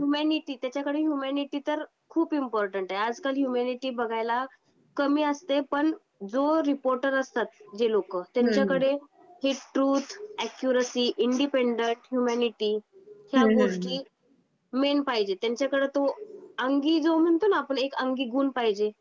Humanity, त्याच्या कडे humanity तर खूप इम्पॉर्टंट आहे. आज कल ह्यूमॅनिटी बघायला कमी असते. पण जो रिपोर्टर असतात जे लोकं त्यांच्या कडे ते ट्रूथ , अक्यूरसी, इंडिपेंडेंट, ह्यूमॅनिटी त्या गोष्टी मेन पाहिजे. त्यांच्या कडे तो अंगी जो म्हणतो ना आपण एक अंगी गुण पाहिजे.